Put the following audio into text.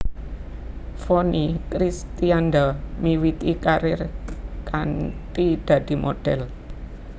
Vonny Kristianda miwiti karir kanthi dadi modhèl